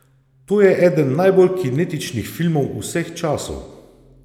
To je eden najbolj kinetičnih filmov vseh časov!